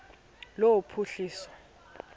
lophuhliso